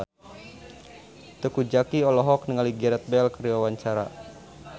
Teuku Zacky olohok ningali Gareth Bale keur diwawancara